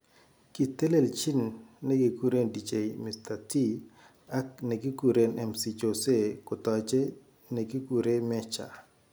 kitelejin nekikure Dj Mr .T ak nekikure MC Jose kotajei nekikure Mejja.